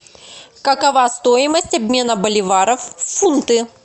какова стоимость обмена боливаров в фунты